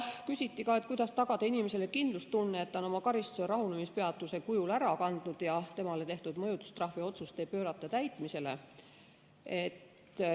Küsiti ka, kuidas tagada inimesele kindlustunne, et ta on oma karistuse rahunemispeatuse kujul ära kandnud ja temale tehtud mõjutustrahviotsust ei pöörata täitmisele.